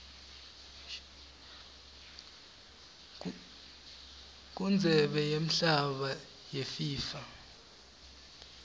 kundzebe yemhlaba yefifa